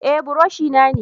Eh buroshi na ne.